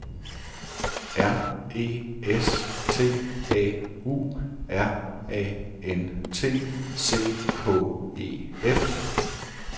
R E S T A U R A N T C H E F